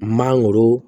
Mangoro